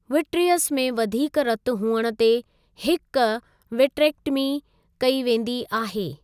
Vitreous में वधीक रतु हुअण ते हिक विट्रेक्टमी कई वेंदी आहे।